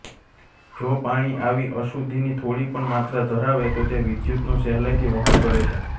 જો પાણી આવી અશુદ્ધિની થોડી પણ માત્રા ધરાવે તો તે વિદ્યુતનું સહેલાઇથી વહન કરે છે